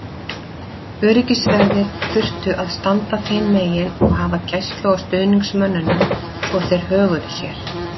Öryggisverðir þurftu að standa þeim megin og hafa gæslu á stuðningsmönnunum svo þeir höguðu sér.